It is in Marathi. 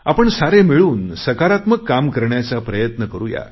आपण सारे मिळून सकारात्मक काम करण्याचा प्रयत्न करुया